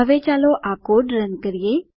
હવે ચાલો આ કોડ રન કરીએ